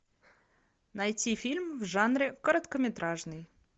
найти фильм в жанре короткометражный